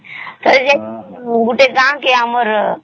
ଏ ଯେ ଗୋଟେ ଗାଁ କେ ଆମର